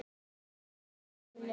í Árbæ.